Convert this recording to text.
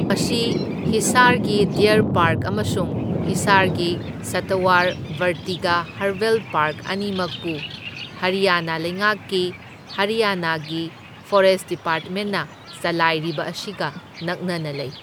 ꯃꯁꯤ ꯍꯤꯁꯥꯔꯒꯤ deer park ꯑꯃꯁꯨꯡ ꯍꯤꯁꯥꯔꯒꯤ ꯁꯇꯋꯥꯔ ꯕꯔꯇꯤꯒꯥ ꯍꯔꯕꯦꯜ ꯄꯥꯔꯛ ꯑꯅꯤꯃꯛꯄꯨ ꯍꯔꯤꯌꯥꯅꯥ ꯂꯩꯉꯥꯛꯀꯤ ꯍꯔꯤꯌꯥꯅꯥꯒꯤ ꯐꯣꯔꯦꯁ ꯗꯤꯄꯥꯔꯠꯃꯦꯟꯅ ꯆꯂꯥꯏꯔꯤꯕ ꯑꯁꯤꯒ ꯅꯛꯅꯅ ꯂꯩ꯫